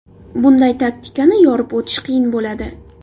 Bunday taktikani yorib o‘tish qiyin bo‘ladi.